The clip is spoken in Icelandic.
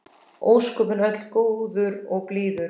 Ósköpin öll góður og blíður.